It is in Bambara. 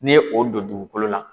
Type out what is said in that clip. N'i ye o don dugukolo la